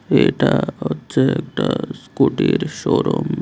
এটা হচ্ছে একটা স্কুটির শোরুম ।